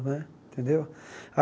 Né tendeu?